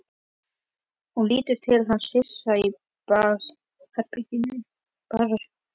Hún lítur til hans hress í bragði.